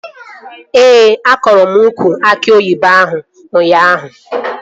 Ee, akọrọ m ukwu aki oyibo ahụ ụnyaahụ